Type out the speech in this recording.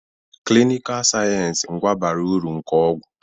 Klinikal sayensị ngwa bara uru nke ọgwụ.